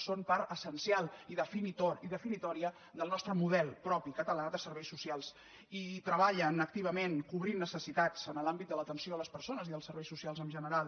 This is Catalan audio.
són part essencial i defini·tòria del nostre model propi català de serveis socials i treballen activament cobrint necessitats en l’àmbit de l’atenció a les persones i dels serveis socials en gene·ral